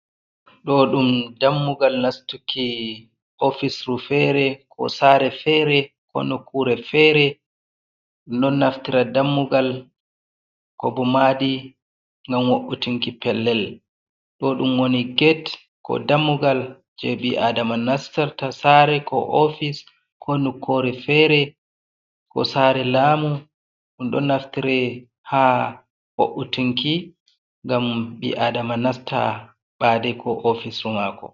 Ɗo ɗum dammugal nastuki ofisru fere ko sare fere ko nukure fere, ɗum ɗo naftira dammugal ko bo madi ngam wo’utunki pellel ɗo ɗum woni get ko dammugal je ɓi’adama nastarta sare, ko ofis, ko nukure fere ko sare, lamu ɗum ɗo naftira ha wo’utunki ngam ɓi'adama nasta ɓade ko ofisru mako.